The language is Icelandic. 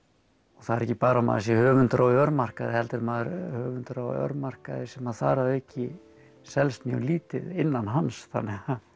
það er ekki bara að maður sé höfundur á örmarkaði heldur maður höfundur á örmarkaði sem þar að auki selst mjög lítið innan hans þannig að